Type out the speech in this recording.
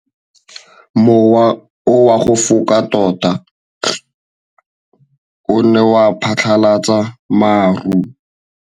Mowa o wa go foka tota o ne wa phatlalatsa maru.